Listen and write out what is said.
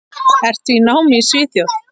Ertu í námi í Svíþjóð?